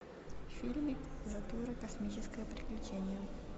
фильмик затура космическое приключение